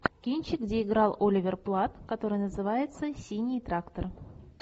кинчик где играл оливер платт который называется синий трактор